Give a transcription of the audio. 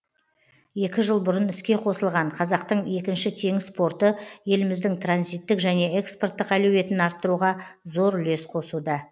екі жыл бұрын іске қосылған қазақтың екінші теңіз порты еліміздің транзиттік және экспорттық әлеуетін арттыруға зор үлес қосуда